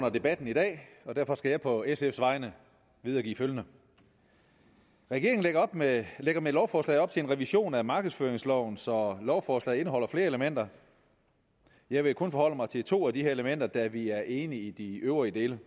under debatten i dag og derfor skal jeg på sf’s vegne videregive følgende regeringen lægger med lægger med lovforslaget op til en revision af markedsføringsloven så lovforslaget indeholder flere elementer jeg vil kun forholde mig til to af de her elementer da vi er enige i de øvrige dele